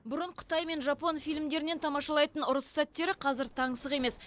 бұрын қытай мен жапон фильмдерінен тамашалайтын ұрыс сәттері қазір таңсық емес